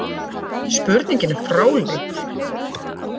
Spurningin er fráleit